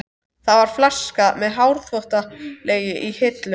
Það var flaska með hárþvottalegi í hillu.